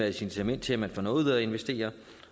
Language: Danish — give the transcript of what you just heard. incitament til at man får noget ud af at investere